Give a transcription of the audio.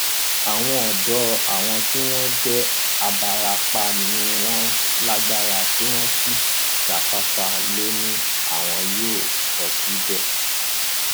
àwọn ọdọ àwọn tí wọn jẹ àbáràápàá tí wọn lágbára tí wọn sì jáfáfá lọ ni àwọn yóò kó síbẹ